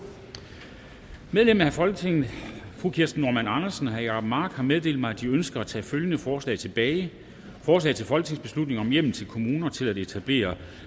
medlemmer af folketinget kirsten normann andersen og jacob mark har meddelt mig at de ønsker at tage følgende forslag tilbage forslag til folketingsbeslutning om hjemmel til kommuner til etablering